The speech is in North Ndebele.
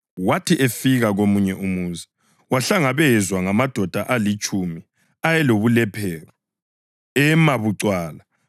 Wathi efika komunye umuzi, wahlangabezwa ngamadoda alitshumi ayelobulephero. Ema bucwala,